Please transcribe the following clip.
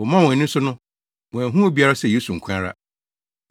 Wɔmaa wɔn ani so no, wɔanhu obiara sɛ Yesu nko ara.